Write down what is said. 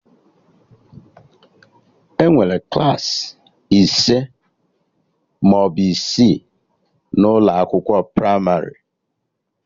Enwere Klassị ise maọbụ isii n'ụlọ akwụkwọ pramarị